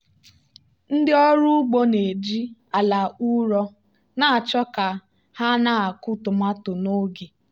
ndị ọrụ ugbo na-eji ala ụrọ na-achọ ka ha na-akụ tomato n'oge.